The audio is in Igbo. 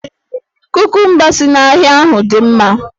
Kukumba si n'ahịa ahụ dị mma